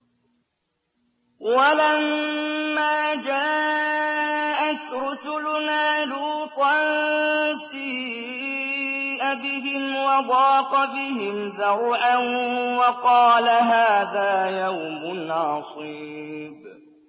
وَلَمَّا جَاءَتْ رُسُلُنَا لُوطًا سِيءَ بِهِمْ وَضَاقَ بِهِمْ ذَرْعًا وَقَالَ هَٰذَا يَوْمٌ عَصِيبٌ